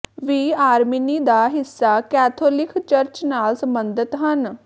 ਵੀ ਆਰਮੀਨੀ ਦਾ ਹਿੱਸਾ ਕੈਥੋਲਿਕ ਚਰਚ ਨਾਲ ਸਬੰਧਤ ਹਨ